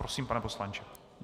Prosím, pane poslanče.